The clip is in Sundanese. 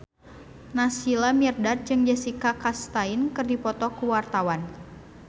Naysila Mirdad jeung Jessica Chastain keur dipoto ku wartawan